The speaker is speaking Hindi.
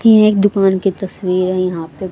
थी एक दुकान की तस्वीर है यहां पे।